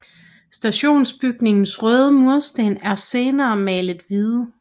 Stationsbygningens røde mursten er senere malet hvide